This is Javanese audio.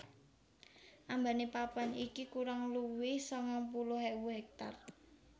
Ambane papan iki kurang luwih sangang puluh ewu hektar